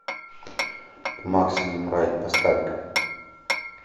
максимум райд поставь ка